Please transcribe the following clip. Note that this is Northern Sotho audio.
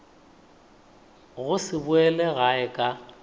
go se boele gae ka